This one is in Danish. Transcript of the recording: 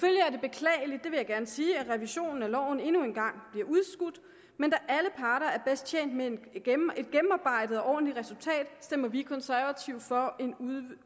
vil jeg gerne sige at revisionen af loven endnu en gang bliver udskudt men da alle parter er bedst tjent med et gennemarbejdet og ordentligt resultat stemmer vi konservative for en